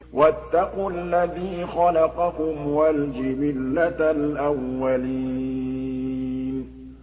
وَاتَّقُوا الَّذِي خَلَقَكُمْ وَالْجِبِلَّةَ الْأَوَّلِينَ